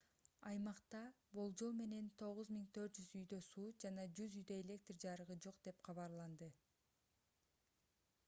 аймакта болжол менен 9400 үйдө суу жана 100 үйдө электр жарыгы жок деп кабарланды